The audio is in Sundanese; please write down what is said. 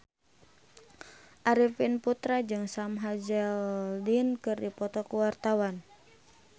Arifin Putra jeung Sam Hazeldine keur dipoto ku wartawan